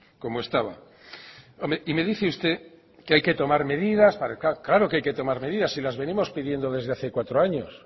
como estaba y me dice usted que hay que tomar medidas claro que hay que tomar medidas y las venimos pidiendo desde hace cuatro años